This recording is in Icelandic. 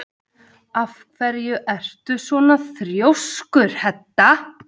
Af hverju ertu svona þrjóskur, Hedda?